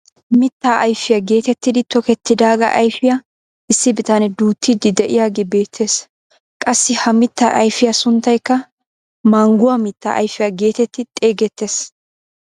Mittaa ayfiyaa getettidi tokettidagaa ayfiyaa issi bitanee duuttiidi de'iyaagee beettees. qassi ha mittaa ayfiyaa sunttaykka mangguwaa mittaa ayfiyaa getetti xeegettees.